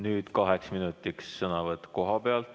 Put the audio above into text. Nüüd kaheks minutiks sõnavõtt kohapealt.